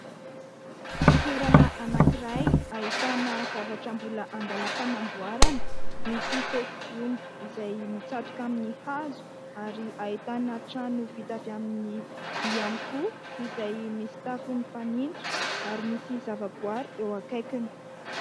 Toerana anankiray ahitana zavatra mbola andalam-panamboarana. Misy fefy gony izay mitsatoka amin'ny hazo ary ahitana trano vita avy amin'ny vy ihany koa izay misy tafo ny fanitso ary misy zavaboary eo akaikiny.